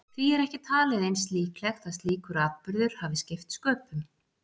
Því er ekki talið eins líklegt að slíkur atburður hafi skipt sköpum.